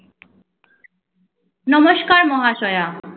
নমস্কার মহাশয়া